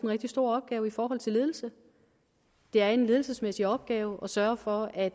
rigtig stor opgave i forhold til ledelse det er en ledelsesmæssig opgave at sørge for at